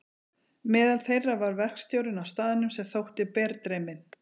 Meðal þeirra var verkstjórinn á staðnum sem þótti berdreyminn.